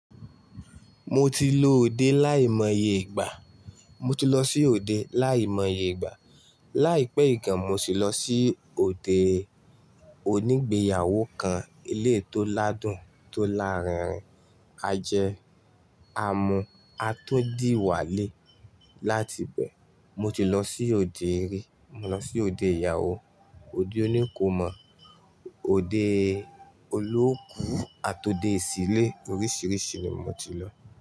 Mo ti lo òde láìmọye ìgbà, mo ti lọ sí òde láìmọye ìgbà. Láìpẹ́ yii gan, mo sì lọ sí òde onígbéyàwó kan, eleyii tó ládùn, tó láárin-irin, a jẹ, a mu, a tún dì walẹ̀ láti bẹ. Mo ti lọ sí òde ri, mo lọ sí òde ìyàwó, òde oníkòMọ, òde olóóku àti òde ìsílé oríṣìíríṣìí ni mo ti lọ.